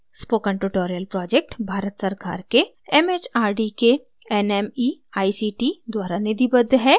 spoken tutorial project Bharat सरकार के mhrd के nmeict द्वारा निधिबद्ध है